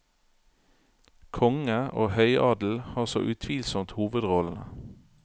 Konge og høyadel har så utvilsomt hovedrollene.